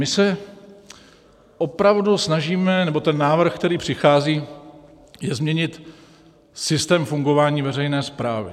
My se opravdu snažíme, nebo ten návrh, který přichází, je změnit systém fungování veřejné správy.